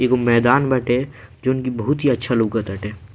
एगो मैदान बाटे जौन की बहुत ही अच्छा लौकत ताटे।